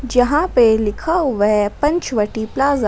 यहां पे लिखा हुआ है पंचवटी प्लाजा ।